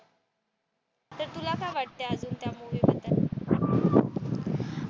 तर तुला काय वाटत अजून त्या मूवी